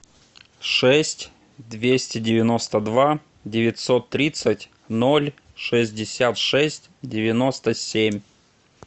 шесть двести девяносто два девятьсот тридцать ноль шестьдесят шесть девяносто семь